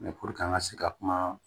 puruke an ka se ka kuma